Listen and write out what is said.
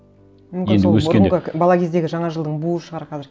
мүмкін сол бұрынғы бала кездегі жаңа жылдың буы шығар қазір